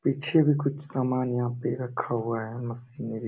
पीछे भी कुछ सामान यहाँ पे रखा हुआ है मशीनरी --